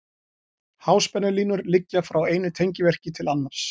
Háspennulínur liggja frá einu tengivirki til annars.